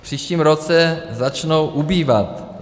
V příštím roce začnou ubývat.